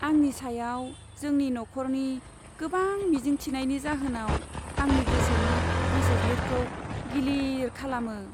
आंनि सायाव जोंनि नखरनि गोबां मिजिं थिनायनि जाहोनाव आंनि गोसोनि गोसोज्लिरखौ गिलिर खालामो।